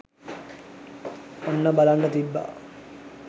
ඔන්න බලන්න තිබ්බා